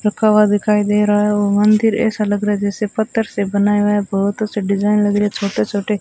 रखा हुआ दिखाई दे रहा है वो मंदिर ऐसा लग रहा है जैसे पत्थर से बनाया हुआ है बहोत अच्छे डिजाइन लग रहे छोटे-छोटे --